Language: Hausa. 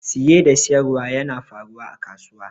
Siyi da siyarwa yana faruwa a kasuwa.